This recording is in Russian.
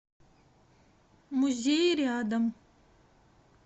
музей рядом